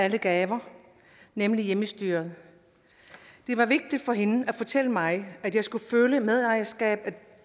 af alle gaver nemlig hjemmestyret det var vigtigt for hende at fortælle mig at jeg skulle føle medejerskab